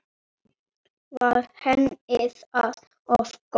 Var henni það of gott?